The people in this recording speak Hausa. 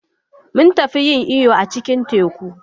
Mun tafi yin iyo a cikin teku.